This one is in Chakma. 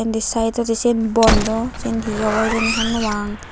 di saidodi siyen bondo siyen he obo hejeni honno pang.